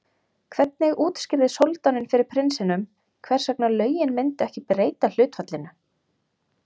hvernig útskýrði soldáninn fyrir prinsinum hvers vegna lögin myndu ekki breyta hlutfallinu